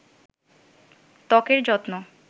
ত্বকের যত্ন